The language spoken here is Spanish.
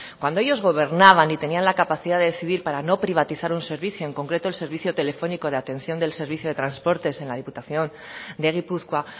cuando ellos gobernaban y tenían la capacidad de decidir para no privatizar un servicio en concreto el servicio telefónico de atención del servicio de transportes en la diputación de gipuzkoa